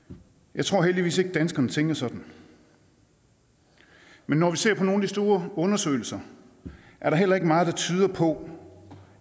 jeg tror heldigvis ikke at danskerne tænker sådan men når vi ser på nogle af de store undersøgelser er der heller ikke meget der tyder på